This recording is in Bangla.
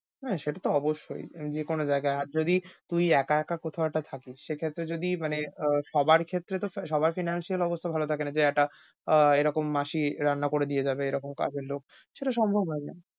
হ্যাঁ সেটা তো অবশ্যই উম যেকোন জায়গায়। আর যদি তুই একা একা কোথাও একটা থাকিস সেক্ষেত্রে যদি মানে আহ সবার ক্ষেত্রে তো স~ সবার financial অবস্থা ভালো থাকেনা যে একটা আহ এরকম মাসি রান্না করে দিয়ে যাবে এরকম কাজে লোক সেটা সম্ভব হয়না।